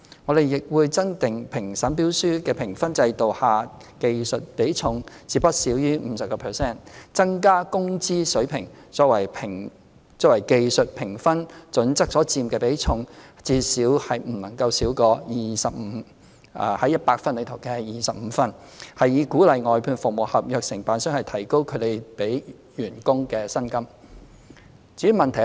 我們亦會增加評審標書的評分制度下技術比重至不少於 50%， 增加"工資水平"作為技術評分準則所佔的比重至不少於 25/100 分，以鼓勵外判服務合約承辦商提高他們的員工的薪金。